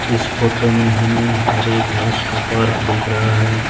इस फोटो में हमें हरे घास का पार्क दिख रहा है।